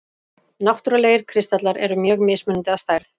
Náttúrlegir kristallar eru mjög mismunandi að stærð.